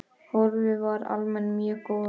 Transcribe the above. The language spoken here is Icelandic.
Horfur eru almennt mjög góðar.